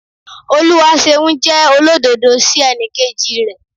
Oluwaseun jẹ́ olódodo sí ẹnikeji rẹ̀.